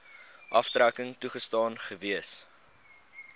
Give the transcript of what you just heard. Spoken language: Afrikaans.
aftrekking toegestaan gewees